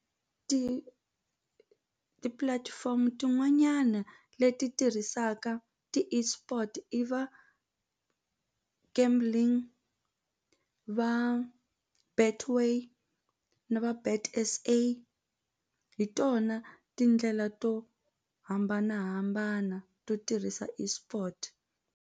Ti tipulatifomo tin'wanyana leti tirhisaka ti-eSport i va kambe gambling va Betway na vo Bet S_A hi tona tindlela to hambanahambana to tirhisa eSport.